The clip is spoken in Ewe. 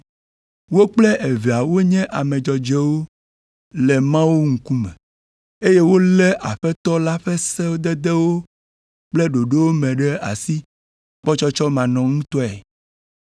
Wo kple evea wonye ame dzɔdzɔewo le Mawu ŋkume, eye wolé Aƒetɔ la ƒe sededewo kple ɖoɖowo me ɖe asi kpɔtsɔtsɔmanɔŋutɔe.